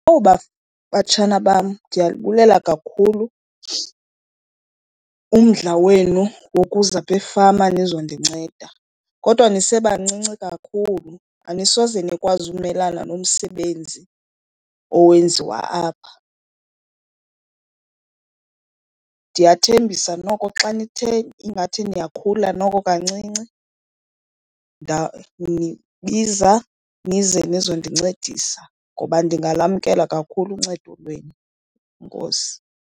Batshana bam, ndiyalibulela kakhulu umdla wenu wokuza apha efama nizondinceda. Kodwa nisebancinci kakhulu anisoze nikwazi umelana nomsebenzi owenziwa apha. Ndiyathembisa noko xa nithe ingathi niyakhula noko kancinci ndawunibiza nize nizondincedisa ngoba ndingamamkela kakhulu uncedo lwenu. Enkosi.